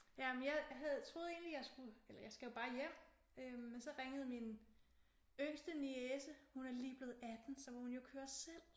Jamen jeg havde troede egentlig at jeg skulle eller jeg skal jo bare hjem men så ringede min yngste niece. Hun er lige blevet 18 så må hun jo køre selv